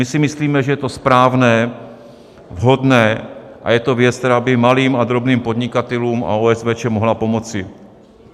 My si myslíme, že je to správné, vhodné a je to věc, která by malým a drobným podnikatelům a OSVČ mohla pomoci.